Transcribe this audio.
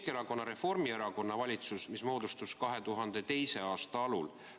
Keskerakonna ja Reformierakonna valitsus moodustus 2002. aasta alul.